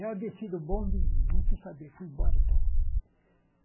Eu desci do bonde e não quis saber, fui embora e tal.